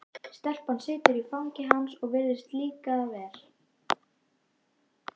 Stelpan situr í fangi hans og virðist líka það vel.